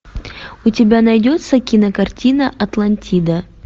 у тебя найдется кинокартина атлантида